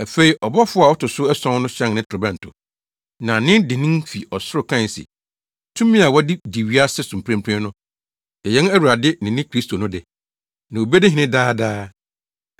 Afei ɔbɔfo a ɔto so ason no hyɛn ne torobɛnto, na nne dennen fi ɔsoro kae se, “Tumi a wɔde di wiase so mprempren no yɛ yɛn Awurade ne ne Kristo no de, na obedi hene daa daa.”